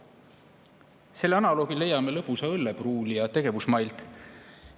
Selle analoogi leiame lõbusa õllepruulija tegevusmailt.